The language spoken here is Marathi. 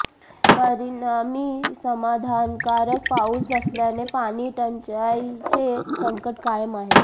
परिणामी समाधानकारक पाऊस नसल्याने पाणी टंचाईचे संकट कायम आहे